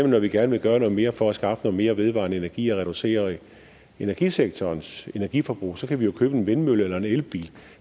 når vi gerne vil gøre noget mere for at skaffe noget mere vedvarende energi og reducere energisektorens energiforbrug så kan vi jo købe en vindmølle eller en elbil og